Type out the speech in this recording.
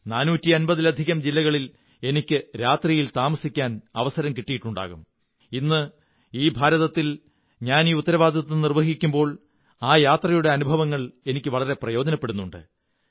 450 ലധികം ജില്ലകളിൽ എനിക്ക് രാത്രിയിൽ താമസിക്കാൻ അവസരം കിട്ടിയിട്ടുണ്ടാകും ഇന്ന് ഈ ഭാരതത്തിൽ ഞാൻ ഈ ഉത്തരവാദിത്വം നിര്വ്വിഹിക്കുമ്പോൾ ആ യാത്രകളുടെ അനുഭവങ്ങൾ എനിക്കു വളരെ പ്രയോജനപ്പെടുന്നുണ്ട്